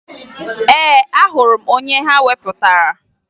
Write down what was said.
Ee, ahụrụ m onye ha wepụtara